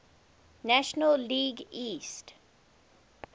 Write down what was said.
national league east